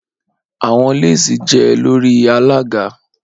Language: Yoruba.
Awọn lesi jẹ lori alaga